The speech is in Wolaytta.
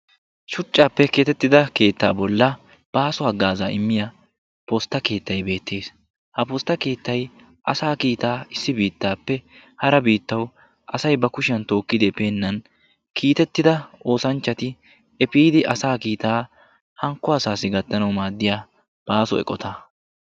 Shuchchaappe keexettida keettaa bollan baaso haggaazaa immiyaa postta keettay beettees. ha postta keettay asaa kiitaa issi biittaappe hara biittawu asay ba kushiyaan tookkidi epeenan kiitettida oosanchchati epiidi asaa kiitaa hankko asaassi gattanawu maaddiyaa baaso eqotaa.